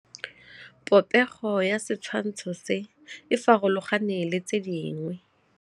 Popêgo ya setshwantshô se, e farologane le tse dingwe.